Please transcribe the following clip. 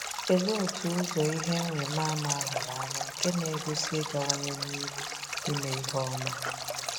Kedụ otú ụzọ ihe nrimama ahụrụ anya nke n'egosi igawanye n'iru ime ihe ọma.